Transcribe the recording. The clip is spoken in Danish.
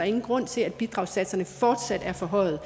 ingen grund til at bidragssatserne fortsat er forhøjet